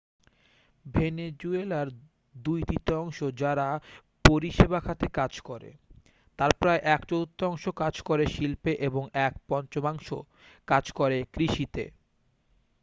ভেনেজুয়েলার দুই তৃতীয়াংশ যারা পরিষেবা খাতে কাজ করে তার প্রায় এক চতুর্থাংশ কাজ করে শিল্পে এবং এক পঞ্চমাংশ কাজ করে কৃষিতে